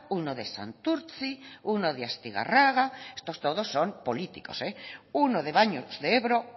uno de santurtzi uno de astigarraga estos todos son políticos eh uno de baños de ebro